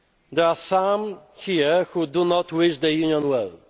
There are some here who do not wish the Union